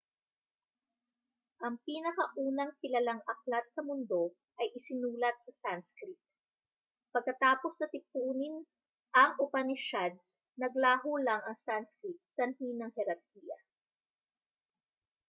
ang pinakaunang kilalang aklat sa mundo ay isinulat sa sanskrit pagkatapos na tipunin ang upanishads naglaho lang ang sanskrit sanhi ng herarkiya